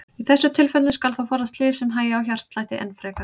Í þessum tilfellum skal þó forðast lyf sem hægja á hjartslætti enn frekar.